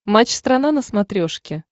матч страна на смотрешке